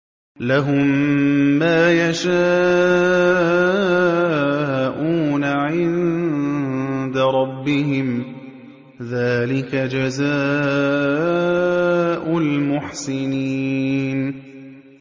لَهُم مَّا يَشَاءُونَ عِندَ رَبِّهِمْ ۚ ذَٰلِكَ جَزَاءُ الْمُحْسِنِينَ